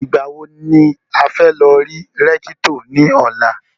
Ìgbà wo ni a fẹ́ lọ rí Rẹ́kítọ̀ ní ọ̀la?